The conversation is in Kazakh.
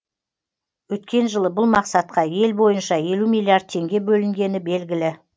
өткен жылы бұл мақсатқа ел бойынша елу миллиард теңге бөлінгені белгілі